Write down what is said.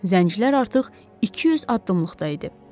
Zəncilər artıq 200 addımlıqda idi.